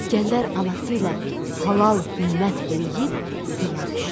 İsgəndər anası ilə halal ümmət eləyib yola düşdü.